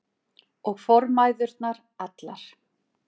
Og formæðurnar allar.